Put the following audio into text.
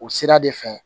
O sira de fɛ